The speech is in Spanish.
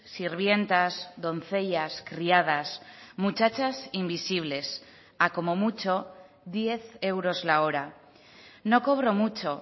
sirvientas doncellas criadas muchachas invisibles a como mucho diez euros la hora no cobro mucho